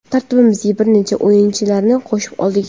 Tarkibimizga bir necha o‘yinchilarni qo‘shib oldik.